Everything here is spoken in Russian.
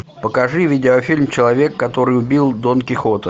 покажи видеофильм человек который убил дон кихота